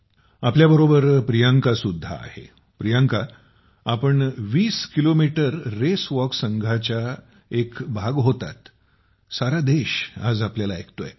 आपल्या बरोबर प्रियांका सुद्धा आहे प्रियांका आपण वीस किलोमीटर रेसावाक संघाचा भाग होतात सारा देश आपल्याला आज ऐकतो आहे